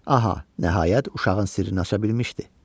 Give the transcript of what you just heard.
Aha, nəhayət uşağın sirrini aça bilmişdi.